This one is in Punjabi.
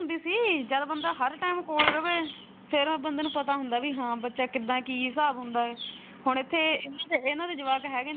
ਨਹੀਂ ਜਦੋਂ ਬੰਦਾ ਹਰ time ਕੋਲ ਰਵੇ ਫੇਰ ਉਸ ਬੰਦੇ ਨੂੰ ਪਤਾ ਹੁੰਦਾ ਹੈ ਕਿ ਹਾਂ ਬਚਾ ਕਿਦਾ ਕੀ ਹਿਸਾਬ ਹੁੰਦਾ ਹੈ ਹੁਣ ਇਥੇ ਇਨ੍ਹਾਂ ਦੇ ਜਵਾਕ ਹੈਗੇ ਨੇ।